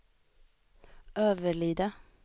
Överlida